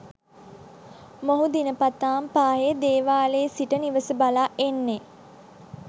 මොහු දිනපතාම පාහේ දේවාලයේ සිට නිවස බලා එන්නේ